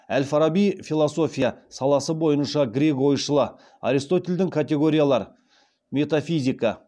әл фараби философия саласы бойынша грек ойшылы аристотельдің категориялар метафизика